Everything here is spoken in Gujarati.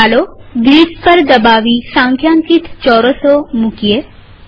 ચાલો ગ્રીડ્સ પર દબાવી સંખ્યાંકિત ચોરસો મુકીશું